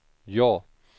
ja